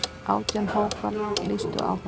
Átján hópar lýstu áhuga.